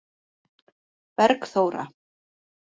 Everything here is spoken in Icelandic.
Bergþóra